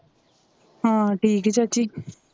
ਹਾਂ ਠੀਕ ਆ ਚਾਚੀ